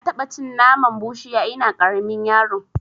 Na taɓa cin naman bushiya ina ƙaramin yaro